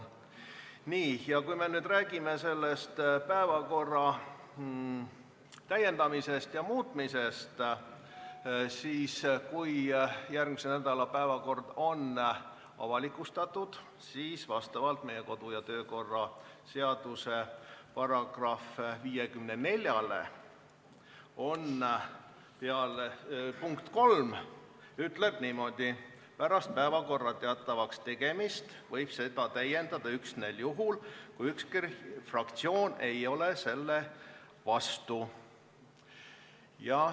Nii, ja kui me nüüd räägime päevakorra täiendamisest ja muutmisest olukorras, kus järgmise nädala päevakord on avalikustatud, siis tuleb vaadata meie kodu- ja töökorra seaduse § 54 lõiget 3, mis ütleb niimoodi: "Pärast päevakorra teatavakstegemist võib seda täiendada üksnes juhul, kui ükski fraktsioon ei ole selle vastu.